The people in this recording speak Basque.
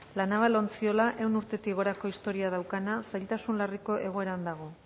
la naval ontziola ehun urtetik gorako historia daukana zailtasun larriko egoeran dago